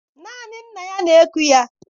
Naanị nna ya na-eku ya.